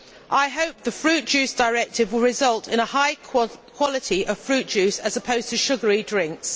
I hope the Fruit Juice Directive will result in a high quality of fruit juice as opposed to sugary drinks.